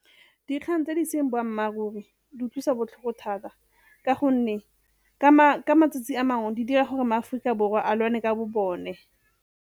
Dikgang tse di seng boammaaruri di utlwisa botlhoko thata ka gonne ka matsatsi a mangwe di dira gore maAforika Borwa a lwane ka bo bone.